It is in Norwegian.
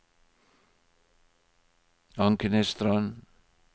Ankenesstrand